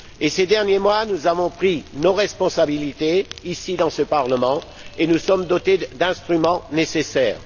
Ces derniers mois, nous avons pris nos responsabilités, ici, dans ce Parlement, et nous sommes dotés des instruments nécessaires.